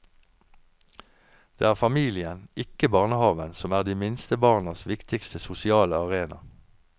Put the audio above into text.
Det er familien, ikke barnehaven som er de minste barnas viktigste sosiale arena.